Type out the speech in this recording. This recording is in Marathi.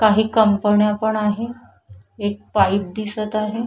काही कंपन्या पण आहे एक बाईक दिसत आहे.